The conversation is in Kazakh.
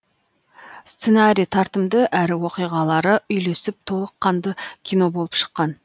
сценарий тартымды әрі оқиғалары үйлесіп толық қанды кино болып шыққан